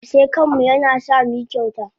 Aske kanmu yana sa muyi kyauta.